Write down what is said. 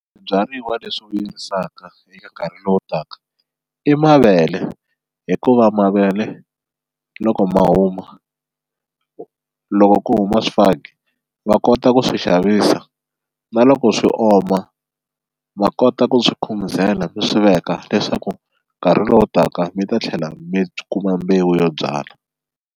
Swibyariwa leswi vuyerisaka eka nkarhi lowu taka i mavele hikuva mavele loko ma huma loko ku huma swifaki va kota ku swi xavisa na loko swi oma va kota ku swi khumuzela mi swi veka leswaku nkarhi lowu taka mi ta tlhela mi kuma mbewu yo byala.